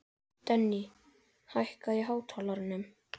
Denni, hækkaðu í hátalaranum.